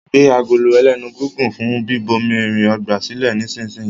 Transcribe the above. gbé Agolo ẹlẹ́nu gígùn fún bíbomirin ọgbà silẹ nísìsiyìí!